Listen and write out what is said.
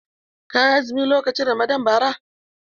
Ka yi azumi lokacin Ramadan bara?